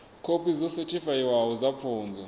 khophi dzo sethifaiwaho dza pfunzo